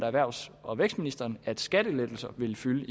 erhvervs og vækstministeren at skattelettelser vil fylde